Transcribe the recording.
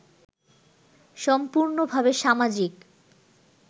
সম্পূর্নভাবে সামাজিক